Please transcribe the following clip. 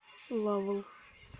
лавл